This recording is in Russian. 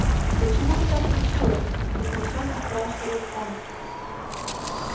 почему ты так решила потрясенно спрашивает он